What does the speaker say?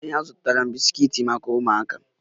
Ee azụrụ m bisikiiti maka ụmụaka